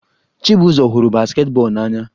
Chibuzor hụrụ basketball n'anya